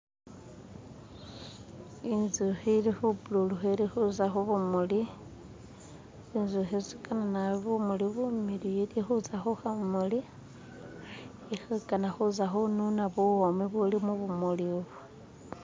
Inzuki ilikubululuka ilikuza kubumuli. Zinzuki zigana nabi bumuli bumiliyu ilikuza ku kamuli ilikugana kuza kununa buwomi ubuli mu bumuli ibu.